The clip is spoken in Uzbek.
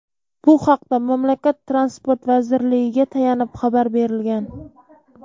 Bu haqda mamlakat Transport vazirligiga tayanib xabar berilgan.